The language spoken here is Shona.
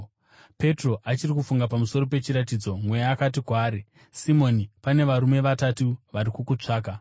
Petro achiri kufunga pamusoro pechiratidzo, Mweya akati kwaari, “Simoni, pane varume vatatu vari kukutsvaka.